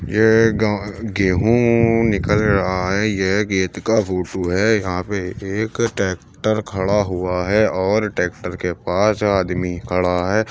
ये ग गेहूं निकल रहा है। ये खेत का फोटो है। यहाँं पे एक टैक्टर खड़ा हुआ है और ट्रैक्टर के पास आदमी खड़ा है।